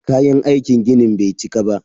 Kayan aikin ginin bai cika ba.